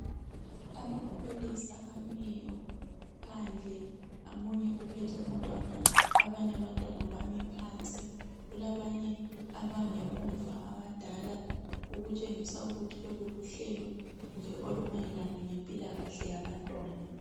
Amapholisa amiyo phandle omunye uphethe umntwana abanye abantwana phansi kulabanye abangemuva abadala okutshengisa ukuthi lolu luhlelo nje olumayelana lempilakahle yabantwana.